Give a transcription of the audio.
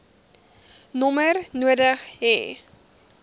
nommer nodig hê